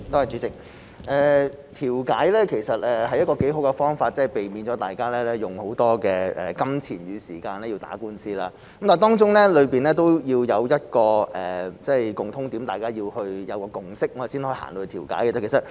主席，調解其實是個很好的方法，避免大家用大量金錢與時間打官司，但當中需要一個共通點，大家要有共識，才能達成調解。